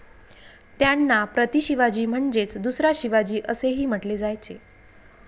त्यांना 'प्रतिशिवाजी' म्हणजेच 'दुसरा शिवाजी असेही म्हटले जायचे.